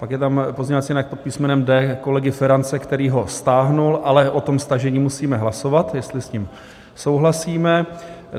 Pak je tam pozměňovací návrh pod písmenem D kolegy Ferance, který ho stáhl, ale o tom stažení musíme hlasovat, jestli s ním souhlasíme.